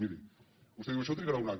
miri vostè diu això trigarà un any